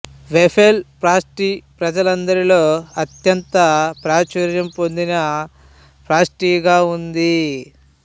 waffle pastry ప్రజలందరిలో అత్యంత ప్రాచుర్యం పొందిన పాస్ట్రీగా ఉంది